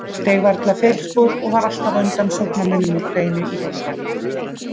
Steig varla feilspor og var alltaf á undan sóknarmönnum Úkraínu í boltann.